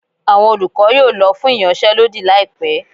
awọn olukọ yóò lọ fún iyansé lodí laípe